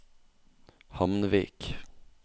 Hamnvik